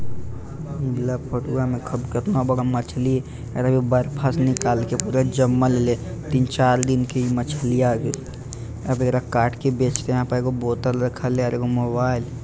इ वाला फोटूवा में खूब केतना बड़ा मछली हेय हे देखा बर्फा से निकाल के पूरा जमल हले तीन-चार दिन के मछलीया अब एकरा काट के बेचते यहां पे एगो बोतल रखल हेय आर एगो मोबाइल ।